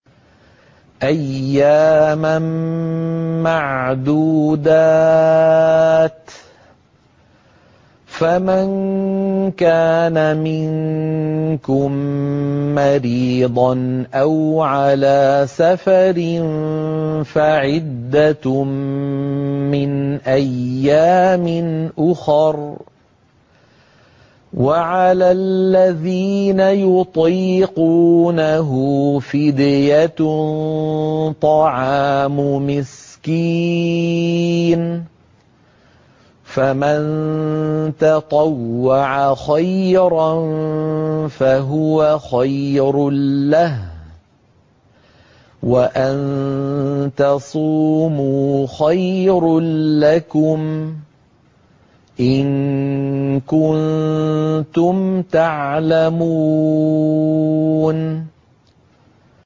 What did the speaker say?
أَيَّامًا مَّعْدُودَاتٍ ۚ فَمَن كَانَ مِنكُم مَّرِيضًا أَوْ عَلَىٰ سَفَرٍ فَعِدَّةٌ مِّنْ أَيَّامٍ أُخَرَ ۚ وَعَلَى الَّذِينَ يُطِيقُونَهُ فِدْيَةٌ طَعَامُ مِسْكِينٍ ۖ فَمَن تَطَوَّعَ خَيْرًا فَهُوَ خَيْرٌ لَّهُ ۚ وَأَن تَصُومُوا خَيْرٌ لَّكُمْ ۖ إِن كُنتُمْ تَعْلَمُونَ